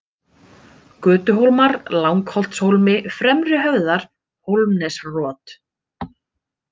Götuhólmar, Langholtshólmi, Fremri-Höfðar, Hólmsnesrot